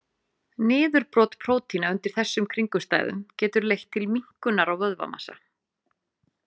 Niðurbrot prótína undir þessum kringumstæðum getur leitt til minnkunar á vöðvamassa.